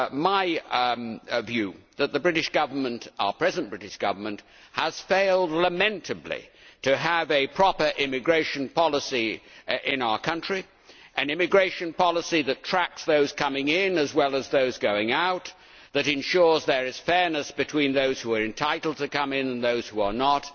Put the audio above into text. my view that our present British Government has failed lamentably to have a proper immigration policy in our country an immigration policy that tracks those coming in as well as those going out, that ensures there is fairness between those who are entitled to come in and those who are not,